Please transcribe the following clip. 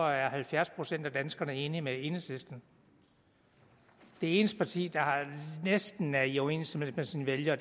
er halvfjerds procent af danskerne enige med enhedslisten det eneste parti der næsten er i overensstemmelse med sine vælgere